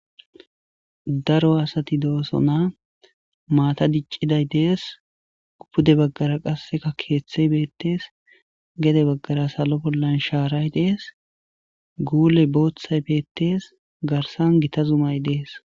daro asati dooso na maata dicciday dees upude baggara qasseka keeththey beettees gede baggara salo bollan shaaray dees guule booththay beettes garsan gita zumay dees